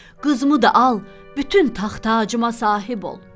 Qızımı da al, bütün taxt-tacına sahib ol.